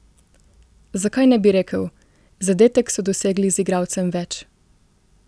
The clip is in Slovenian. Zakaj ne bi rekel: "zadetek so dosegli z igralcem več"?